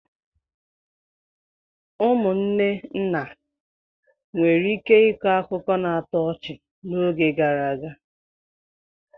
Ụmụnne nna nwere ike ịkọ akụkọ na-atọ ọchị n'oge gara aga.